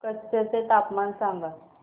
कच्छ चे तापमान सांगा